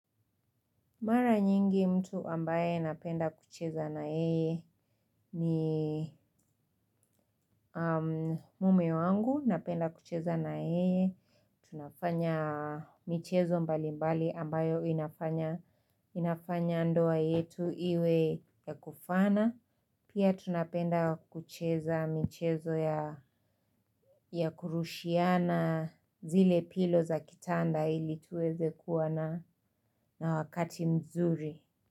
Mara nyingi mtu ambaye napenda kucheza na yeye ni mume wangu napenda kucheza na yeye. Tunafanya michezo mbali mbali ambayo inafanya ndoa yetu iwe ya kufana. Pia tunapenda kucheza michezo ya kurushiana zile pilo za kitanda ili tuweze kuwa na na wakati mzuri.